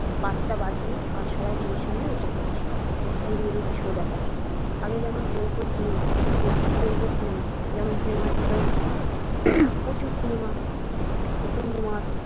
পাঁচটা বাজছে আর সবাই টিভির সামনে বসে পরছে এই reality show দেখার জন্য আগে যেমন চলতো cinema cinema যেমন cinema ছিল প্রচুর cinema উত্তম কুমার।